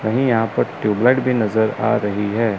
कहीं यहां पर ट्यूबलाइट भी नजर आ रही है।